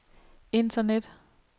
internet